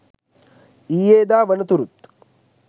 ඊයේදා වනතුරුත්